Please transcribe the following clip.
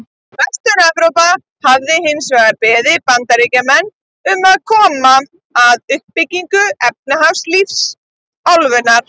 Vestur-Evrópa hafi hins vegar beðið Bandaríkjamenn um að koma að uppbyggingu efnahagslífs álfunnar.